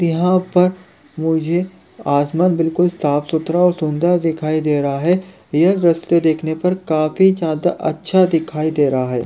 यहाँ पर मुझे आसमान बिल्कुल साफ सुथरा और सुंदर दिखाई दे रहा हैं यह दृश्य देखने पर काफी ज्यादा अच्छा दिखाई दे रहा हैं।